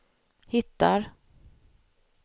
hittar